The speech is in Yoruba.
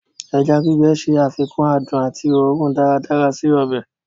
Ẹja gbígbẹ̀ ṣé àfikún àdùn àti ọ̀rùn daradsara sí ọbẹ̀.